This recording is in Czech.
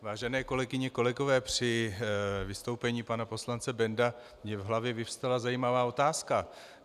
Vážené kolegyně, kolegové, při vystoupení pana poslance Bendla mi v hlavě vyvstala zajímavá otázka.